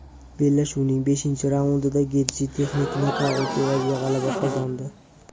Bellashuvning beshinchi raundida Getji texnik nokaut evaziga g‘alaba qozondi .